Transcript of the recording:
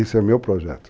Esse é o meu projeto.